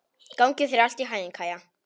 Gangi þér allt í haginn, Kæja.